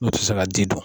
Olu tɛ se ka ji dun